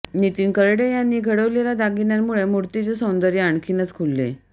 नितीन करडे यांनी घडविलेल्या दागिन्यांमुळे मूर्तीचे सौंदर्य आणखीनच खुलले